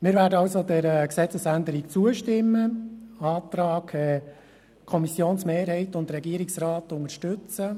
Wir werden dieser Gesetzesänderung zustimmen und den Antrag der Kommissionsmehrheit und des Regierungsrats unterstützen.